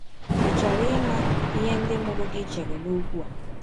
Ị̀ chọrọ ịma ihe ndị mụrụ gị chere n’ọkwụ a?